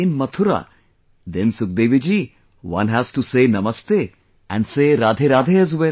In Mathura, then Sukhdevi ji, one has to say Namaste and say RadheRadhe as well